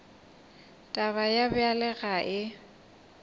taba ye bjalo ga e